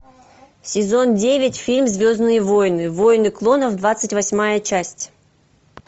сезон девять фильм звездные войны войны клонов двадцать восьмая часть